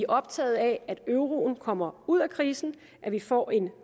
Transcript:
optaget af at euroen kommer ud af krisen at vi får en